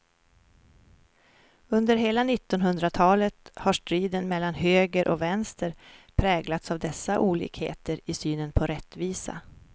Under hela nittonhundratalet har striden mellan höger och vänster präglats av dessa olikheter i synen på rättvisa.